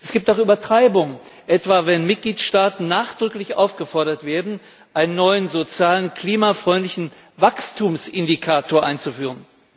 Es gibt auch Übertreibung, etwa wenn Mitgliedstaaten nachdrücklich aufgefordert werden, einen neuen sozialen, klimafreundlichen Wachstumsindikator einzuführen.